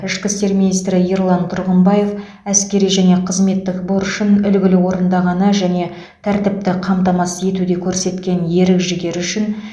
ішкі істер министрі ерлан тұрғымбаев әскери және қызметтік борышын үлгілі орындағаны және тәртіпті қамтамасыз етуде көрсеткен ерік жігері үшін